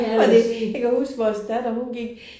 Fordi jeg kan huske vores datter hun gik